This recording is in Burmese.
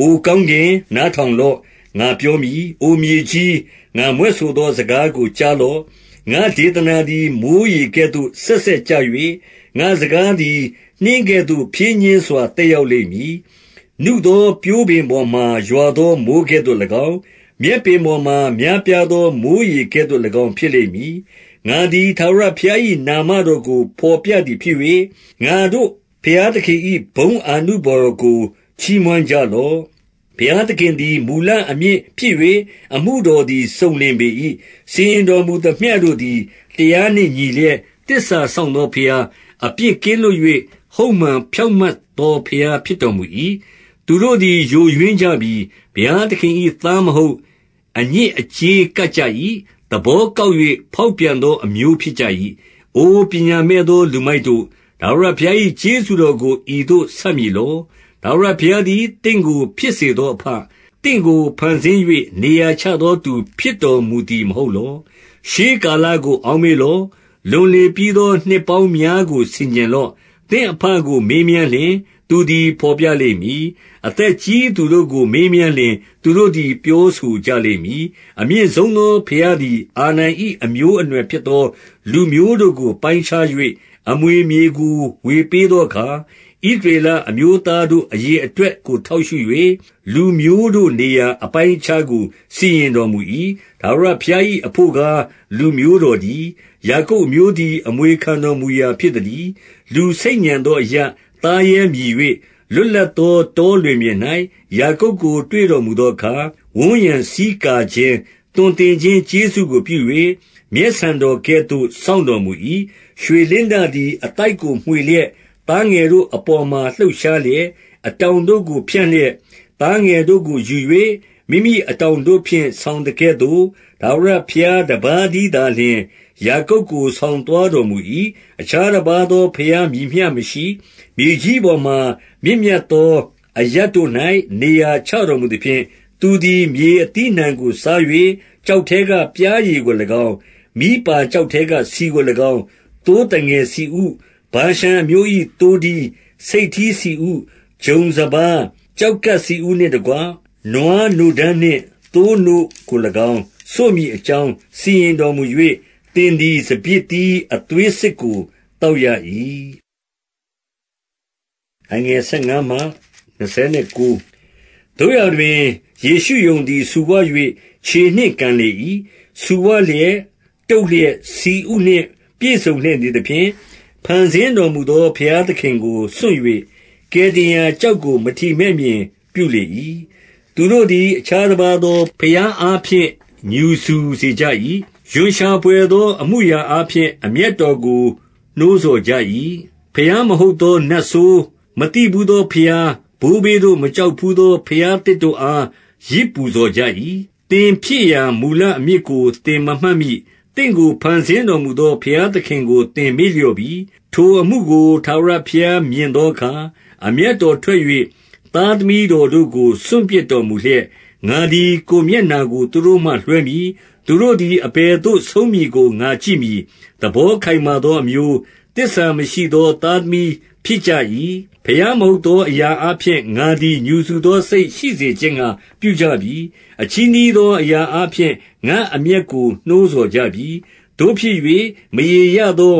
အို ကောင်းကင်၊ နားထောင်လော့၊ ငါပြောမည်။ အိုမြေကြီး၊ ငါမြွက်ဆိုသောစကားကို ကြားလော့။ 2 ငါ့ဒေသနာသည် မိုဃ်းရေကဲ့သို့ စက်စက်ကျ၍၊ ငါ့စကားသည် နှင်းကဲ့သို့ ဖြည်းညှင်းစွာ သက်ရောက်လိမ့် မည်။ နုသောပျိုးပင်ပေါ်မှာ ရွာသောမိုဃ်းကဲ့သို့၎င်း၊ မြက်ပင်ပေါ်မှာ များပြားသော မိုဃ်းရေကဲ့သို့၎င်း ဖြစ်လိမ့် မည်။ 3 ငါသည် ထာဝရဘုရား၏ နာမတော်ကို ဘော်ပြ သည်ဖြစ်၍၊ ငါတို့ဘုရားသခင်၏ ဘုန်းအာနုဘော်တော် ကို ချီးမွမ်းကြလော့။ 4 ဘုရားသခင်သည် မူလအမြစ်ဖြစ်၍၊ အမှုတော် သည် စုံလင်ပေ၏။ စီရင်တော်မူသမျှတို့သည် တရားနှင့် ညီလျက်၊ သစ္စာစောင့်သောဘုရား၊ အပြစ်ကင်းလွတ်၍ ဟုတ်မှန်ဖြောင့်မတ်သော ဘုရားဖြစ်တော်မူ၏။ 5 သူတို့သည် ယိုယွင်းကြပြီ။ ဘုရားသခင်၏ သား မဟုတ်၊ အညစ်အကြေး ကပ်ကြ၏။ သဘောကောက်၍ ဖောက်ပြန်သောအမျိုး ဖြစ်ကြ၏။ 6 အို ပညာမဲ့သော လူမိုက်တို့၊ ထာဝရဘုရား၏ ကျေးဇူးတော်ကို ဤသို့ဆပ်မည်လော။ ထာဝရဘုရား သည် သင့်ကို ဖြစ်စေသောအဘ၊ သင့်ကို ဖန်ဆင်း၍ နေရာချသောသူ ဖြစ်တော်မူသည် မဟုတ်လော။ 7 ရှေးကာလကို အောက်မေ့လော့။ လွန်လေပြီး သော နှစ်ပေါင်းများကို ဆင်ခြင်လော့။ သင့်အဘကို မေးမြန်းလျှင် သူသည် ဘော်ပြလိမ့်မည်။ အသက်ကြီးသူ တို့ကို မေးမြန်းလျှင် သူတို့သည် ပြောဆိုကြလိမ့်မည်။ 8 အမြင့်ဆုံးသော ဘုရားသည် အာဒံ၏အမျိုးအ နွယ်ဖြစ်သော လူမျိုးတို့ကို ပိုင်းခြား၍ အမွေမြေကို ဝေပေးသောအခါ၊ ဣသရေလအမျိုးသားတို့ အရေ အတွက်ကို ထောက်ရှု၍၊ လူမျိုးတို့နေရာအပိုင်းအခြားကို စီရင်တော်မူ၏။ 9 ထာဝရဘုရား၏ အဘို့ကား၊ လူမျိုးတော်တည်း။ ယာကုပ်အမျိုးသည် အမွေခံတော်မူရာ ဖြစ်သတည်း။ 10 လူဆိတ်ညံသောအရပ်၊ သားရဲမြည်၍၊ လွတ် လပ်သောတောလွင်ပြင်၌ ယာကုပ်ကို တွေ့တော်မူသော အခါ ဝန်းရံဆီးကာခြင်း၊ သွန်သင်ခြင်းကျေးဇူးကို ပြု၍ မျက်ဆန်တော်ကဲ့သို့ စောင့်တော်မူ၏။ 11 ရွှေလင်းတသည် အသိုက်ကို မွှေလျက်၊ သား ငယ်တို့အပေါ်မှာ လှုပ်ရှားလျက်၊ အတောင်တို့ကို ဖြန့် လျက်၊ သားငယ်တို့ကိုယူ၍ မိမိအတောင်တို့ဖြင့် ဆောင် သကဲ့သို့၊ 12 ထာဝရဘုရားတပါးတည်းသာလျှင်၊ ယာကုပ်ကို ဆောင်သွားတော်မူ၏။ အခြားတပါးသောဘုရား မည်မျှ မရှိ။ 13 မြေကြီးပေါ်မှာမြင့်မြတ်သော အရပ်တို့၌ နေရာ ချတော်မူသဖြင့်၊ သူသည် မြေအသီးအနှံကိုစား၍ ကျောက်ထဲကပျားရည်ကို၎င်း၊ မီးပါကျောက်ထဲကဆီကို ၎င်း၊ 14 သိုးသငယ်ဆီဥ၊ ဗာရှန်အမျိုး၏သိုးထီး၊ ဆိတ်ထီး ဆီဥ၊ ဂျုံစပါး၊ ကျောက်ကပ်ဆီဥနှင့်တကွ နွားနို့ဓမ်းနှင့် သိုးနို့ကို၎င်း စို့မည်အကြောင်း စီရင်တော်မူ၍၊ သင်သည် စပျစ်သီးအသွေးစစ်ကို သောက်ရ၏။ 15 သို့ရာတွင်၊ ယေရှုရုန်သည် ဆူဝ၍ ခြေနှင့်ကန် လေ၏။ ဆူဝလျက်၊ တုတ်လျက်၊ ဆီဥနှင့်ပြည့်စုံလျက် နေသဖြင့်၊ ဖန်ဆင်းတော်မူသော ဘုရားသခင်ကို စွန့်၍၊ ကယ်တင်ရာကျောက်ကို မထီမဲ့မြင် ပြုလေ၏။ 16 သူတို့သည် အခြားတပါးသောဘုရားအားဖြင့် ငြူစူစေကြ၏။ ရွံရှာဘွယ်သော အမှုအရာအားဖြင့် အမျက်တော်ကို နှိုးဆော်ကြ၏။ 17 ဘုရားမဟုတ်သော နတ်ဆိုး၊ မသိဘူးသော ဘုရား၊ ဘိုးဘေးတို့ မကြောက်ဘူးသော ဘုရားသစ်တို့ အား ယဇ်ပူဇော်ကြ၏။ 18 သင်ဖြစ်ရာမူလအမြစ်ကို သင်မမှတ်မိ။ သင့်ကို ဖန်ဆင်းတော်မူသော ဘုရားသခင်ကို သင်မေ့လျော့ပြီ။ 19 ထိုအမှုကို ထာဝရဘုရားမြင်သောအခါ၊ အမျက် တော်ထွက်၍ သားသမီးတော်တို့ကို စွန့်ပစ်တော်မူလျက်၊ 20 ငါသည် ကိုယ်မျက်နှာကို သူတို့မှလွှဲမည်။ သူတို့ သည် အဘယ်သို့ဆုံးမည်ကို ငါကြည့်မည်။ သဘောခိုင်မာ သောအမျိုး၊ သစ္စာမရှိသော သားသမီး ဖြစ်ကြ၏။ 21 ဘုရားမဟုတ်သောအရာအားဖြင့် ငါသည် ငြူစူ သောစိတ်ရှိစေခြင်းငှါ ပြုကြပြီ။ အချည်းနှီးသောအရာ အားဖြင့် ငါ့အမျက်ကို နှိုးဆော်ကြပြီ။ သို့ဖြစ်၍ မရေရာ သော